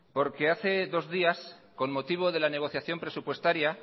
porque hace dos días con motivo de la negociación presupuestaria